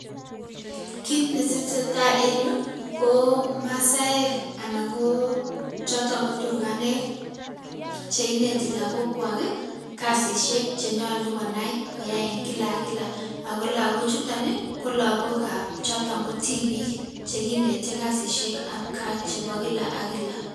Kit ne tesetai en Yuu ko masaek anan ko chotoon ko turkaneek cheinetii lagogkwaak kasisiek che nyaluu konai koyai en kila ak kila ago lagochutaan ii ko lagook ko tibiig cheneteei kasisiek ab gaah chebo kila ak kila.